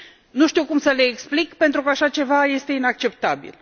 Nu știu cum să le explic, pentru că așa ceva este inacceptabil.